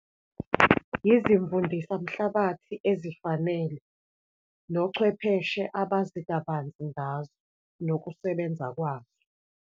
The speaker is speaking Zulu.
Izimvundisa mhlabathi ezifanele, nochwepheshe abazi kabanzi ngazo, nokusebenza kwazo.